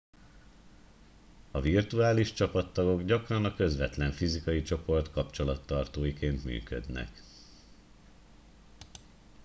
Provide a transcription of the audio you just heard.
a virtuális csapattagok gyakran a közvetlen fizikai csoport kapcsolattartóiként működnek